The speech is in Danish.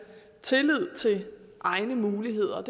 tillid til egne muligheder